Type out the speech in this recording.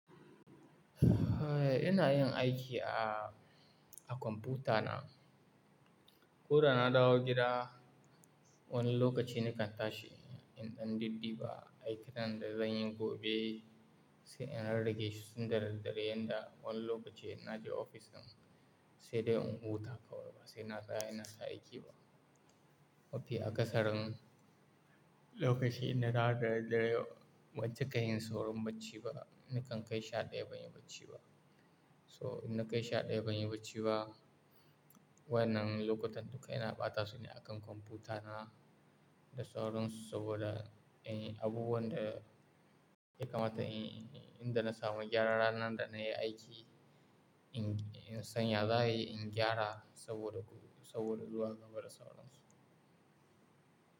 Eh, ina yin aiki a, a kwamfuta na. Ko da na dawo gida, wani lokaci nakan tashi in ɗan didiba ba aikinan da zan yi gobe sai in rarrage shi tun da daddare yanda wani lokaci na je ofis din sai dai in huta kawai ba sai na tsaya ina ta aiki ba. Mafi aƙasarin lokaci inna dawo da daddare yau ban cika yin saurin bacci ba nikan kai sha ɗaya ban yi bacci ba. So in na kai sha ɗaya ban yi bacci ba, wannan lokutan duka ina ɓata su ne a kan kwamfuta na da sauransu saboda in yi abubuwan da ya kamata in, inda na samu gyara ranar da na yi aiki in, in san ya za ayi in gyara saboda, saboda zuwa gaba da sauransu.